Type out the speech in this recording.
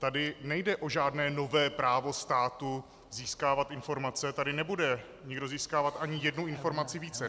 Tady nejde o žádné nové právo státu získávat informace, tady nebude nikdo získávat ani jednu informaci více.